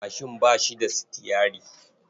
Mashin ba shi da sitiyyari.